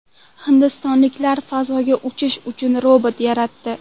Hindistonliklar fazoga uchirish uchun robot yaratdi.